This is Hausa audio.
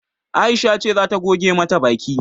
Aisha ce zata goge mata baki